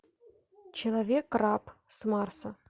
человек раб с марса